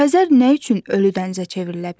Xəzər nə üçün ölü dənizə çevrilə bilər?